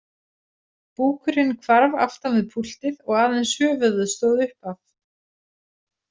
Búkurinn hvarf aftan við púltið og aðeins höfuðið stóð upp af.